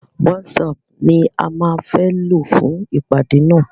WhatsApp ni a má fẹ́ lò fún ìpàdé nà.